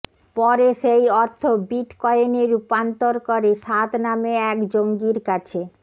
পরে সেই অর্থ বিট কয়েনে রূপান্তর করে সাদ নামে এক জঙ্গির কাছে